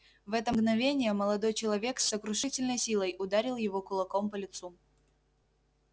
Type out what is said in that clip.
в это мгновение молодой человек с сокрушительной силой ударил его кулаком по лицу